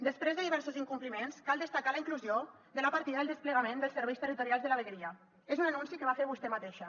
després de diversos incompliments cal destacar la inclusió de la partida del desplegament dels serveis territorials de la vegueria és un anunci que va fer vostè mateixa